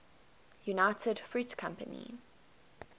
united fruit company